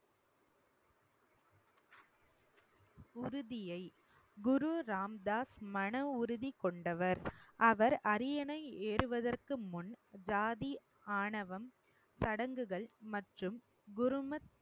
குரு ராம்தாஸ் மன உறுதி கொண்டவர். அவர் அரியணை ஏறுவதற்கு முன் ஜாதி ஆணவம் சடங்குகள் மற்றும் குருமத்